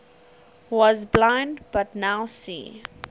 was blind but now see